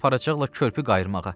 aparacaqla körpü qayırmağa.